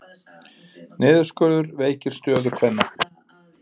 Niðurskurður veikir stöðu kvenna